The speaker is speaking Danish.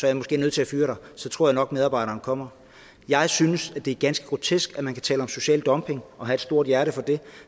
jeg måske nødt til at fyre dig så tror jeg nok medarbejderen kommer jeg synes at det er ganske grotesk at man kan tale om social dumping og have et stort hjerte for det